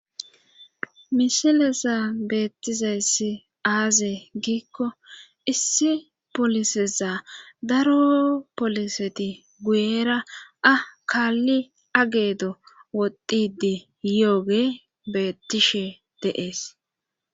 misilezan beettizayssi aaze giikko issi poliseza daro poliseti guyera a kaalli ageedo woxidi yooge bettishe deees